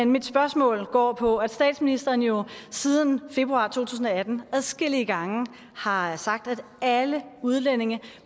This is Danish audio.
mit spørgsmål går på at statsministeren jo siden februar to tusind og atten adskillige gange har sagt at alle udlændinge